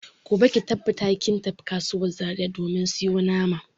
Gobe ki tabbata kin tafi kasuwan Zaria ki domin sayo naman.